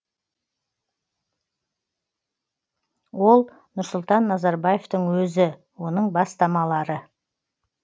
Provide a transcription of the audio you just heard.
ол нұрсұлтан назарбаевтың өзі оның бастамалары